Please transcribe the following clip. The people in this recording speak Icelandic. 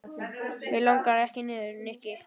Mig langar ekki niður, Nikki.